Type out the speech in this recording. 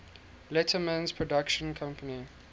letterman's production company